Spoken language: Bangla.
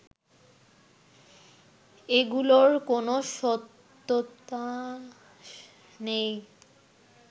এগুলোর কোনো সত্যতা নেই